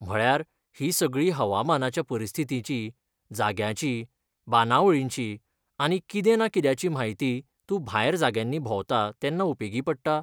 म्हळ्यार, ही सगळी हवामानाच्या परिस्थितींची, जाग्यांची, बांदावळींची आनी कितें ना कित्याची म्हायती तूं भायर जाग्यांनी भोंवता तेन्ना उपेगी पडटा?